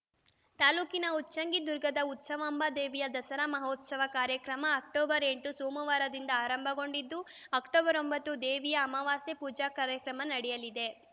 ತಾಲೂಕಿನ ಉಚ್ಚಂಗಿದುರ್ಗದ ಉತ್ಸವಾಂಬಾ ದೇವಿಯ ದಸರಾ ಮಹೋತ್ಸವ ಕಾರ್ಯಕ್ರಮ ಅಕ್ಟೋಬರ್ ಎಂಟು ಸೋಮವಾರದಿಂದ ಆರಂಭಗೊಂಡಿದ್ದು ಅಕ್ಟೋಬರ್ ಒಂಬತ್ತರಂದು ದೇವಿಯ ಅಮವಾಸೆ ಪೂಜಾ ಕಾರ್ಯಕ್ರಮ ನಡೆಯಲಿದೆ